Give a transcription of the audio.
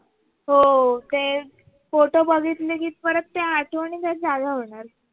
हो ते photos बघितले कि परत त्या आठवणी तर जाग्या होणार